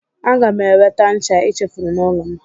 Aga m eweta ncha i chefuru n'ụlọ m.